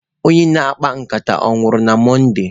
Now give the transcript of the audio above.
Onye na-akpa nkata onwuru na Mọnde?